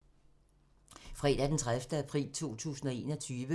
Fredag d. 30. april 2021